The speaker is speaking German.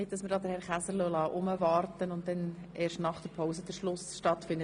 Nicht, dass wir Herrn Käser warten lassen und dann erst nach der Pause abschliessen.